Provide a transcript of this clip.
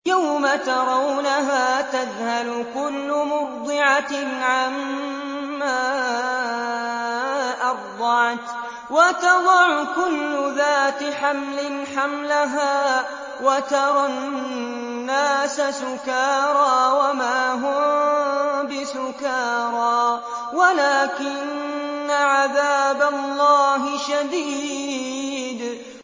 يَوْمَ تَرَوْنَهَا تَذْهَلُ كُلُّ مُرْضِعَةٍ عَمَّا أَرْضَعَتْ وَتَضَعُ كُلُّ ذَاتِ حَمْلٍ حَمْلَهَا وَتَرَى النَّاسَ سُكَارَىٰ وَمَا هُم بِسُكَارَىٰ وَلَٰكِنَّ عَذَابَ اللَّهِ شَدِيدٌ